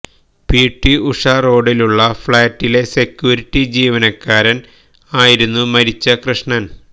P T Usha റോഡിലുള്ള ഫ്ളാറ്റിലെ security ജീവനക്കാരൻ ആയിരുന്നു മരിച്ച കൃഷ്ണൻ